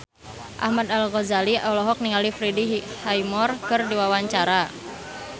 Ahmad Al-Ghazali olohok ningali Freddie Highmore keur diwawancara